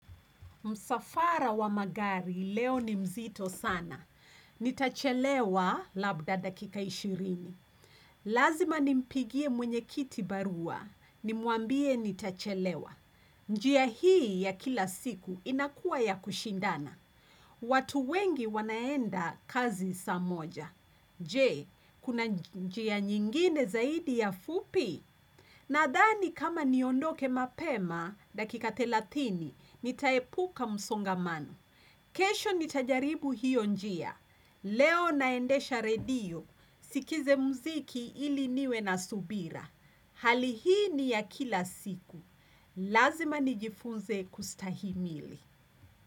Msafara wa magari leo ni mzito sana. Nitachelewa labda dakika ishirini. Lazima nimpigie mwenyekiti barua. Nimwambie nitachelewa. Njia hii ya kila siku inakuwa ya kushindana. Watu wengi wanaenda kazi saa moja. Je, kuna njia nyingine zaidi ya fupi? Nadhani kama niondoke mapema, dakika thelatini, nitaepuka msongamano. Kesho nitajaribu hiyo njia. Leo naendesha redio, sikize mziki ili niwe na subira. Hali hii ni ya kila siku. Lazima nijifunze kustahimili.